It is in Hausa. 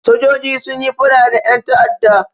Sojoji sun yi faɗa da ƴan ta'adda.